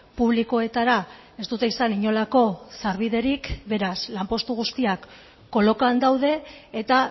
publikoetara ez dute izan inolako sarbiderik beraz lanpostu guztiak kolokan daude eta